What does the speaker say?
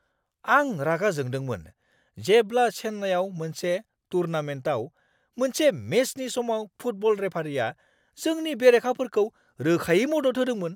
आं रागा जोंदोंमोन जेब्ला चेन्नाईआव मोनसे टूर्नामेन्टाव मोनसे मेचनि समाव फुटबल रेफारिया जोंनि बेरेखाफोरखौ रोखायै मदद होदोंमोन।